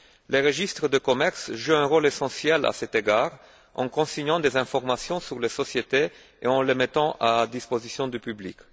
Les registres de commerce jouent un rôle essentiel à cet égard en consignant des informations sur les sociétés et en les mettant à la disposition du public.